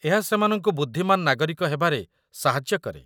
ଏହା ସେମାନଙ୍କୁ ବୁଦ୍ଧିମାନ ନାଗରିକ ହେବାରେ ସାହାଯ୍ୟ କରେ